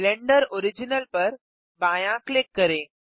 blender original पर बायाँ click करें